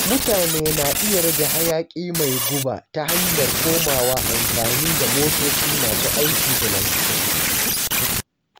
Mutane na iya rage hayaƙi mai guba ta hanyar komawa amfani da motoci masu aiki da lantarki.